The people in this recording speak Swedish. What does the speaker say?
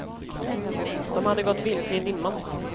De hade gått vilse i dimman.